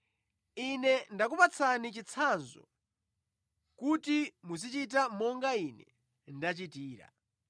Ine ndakupatsani chitsanzo kuti muzichita monga Ine ndachitira.